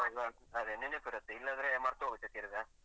ಆವಾಗ ಅದೇ ನೆನಪ್ ಇರುತ್ತೆ ಇಲ್ಲಾಂದ್ರೆ ಮರತೊಗುತ್ತೆ ತಿರ್ಗ.